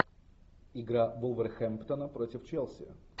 игра вулверхэмптона против челси